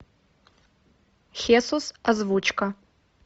хесус озвучка